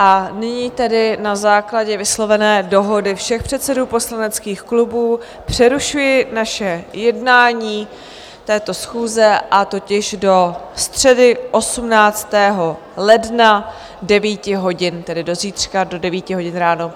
A nyní tedy na základě vyslovené dohody všech předsedů poslaneckých klubů přerušuji naše jednání této schůze, a totiž do středy 18. ledna 9 hodin, tedy do zítřka do 9 hodin ráno.